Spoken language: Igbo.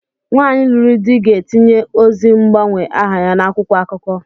Nwaanyi lụrụ di ga-etinye ozi mgbanwe aha ya n'akwụkwọ akụkọ.